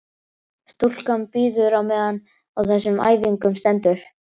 Stúlkan bíður á meðan á þessum æfingum stendur.